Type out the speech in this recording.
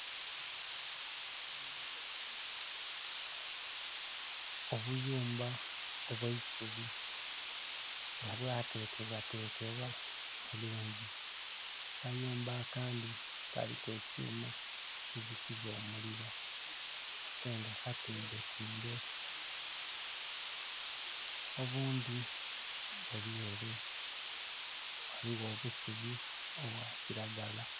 Obuyumba obw'eisubi, nga bwatekebwatekebwa bulungi. Akayumba akandhi kaliku ekyuma ekizikiza omuliro, ate nga katimbetimbe. Obundhi buli ere, ghaligho obusubi obwa kiragala.